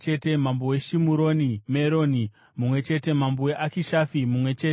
mambo weShimuroni Meroni mumwe chete mambo weAkishafi mumwe chete